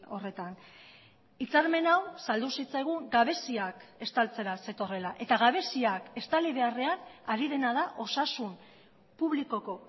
horretan hitzarmen hau saldu zitzaigun gabeziak estaltzera zetorrela eta gabeziak estali beharrean ari dena da osasun publikoko